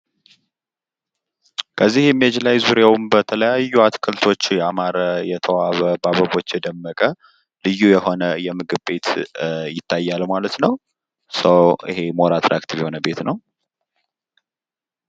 ምስሉ ዙሪያውን በተለያዩ አትክልቶች ያማረ ፣ የተዋበ ፣ በአበቦች የደመቀ እና ልዩ የሆነ የምግብ ቤት የሚታይ ሲሆን ይሄውም በጣም ሳቢና ማራኪ ነው ።